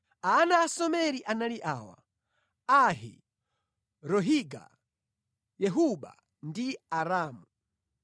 Ana a Someri anali awa: Ahi, Rohiga, Yehuba ndi Aramu.